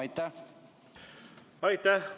Aitäh!